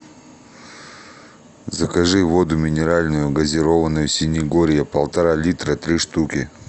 закажи воду минеральную газированную синегорье полтора литра три штуки